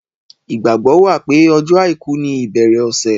Ìgbàgbọ́ wà pé ọjọ́ àìkú ni ìbẹ̀rẹ̀ ọ̀sẹ̀.